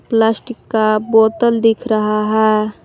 Plastic का बोतल दिख रहा है।